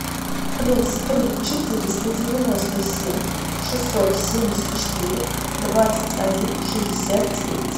плюс три четыреста девяносто семь шестьсот семьдесят четыре двадцать один шестьдесят девять